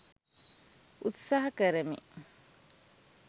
උත්සහා කරමි